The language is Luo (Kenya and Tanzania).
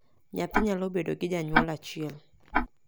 nyathi nyalo bedo gi janyuol achiel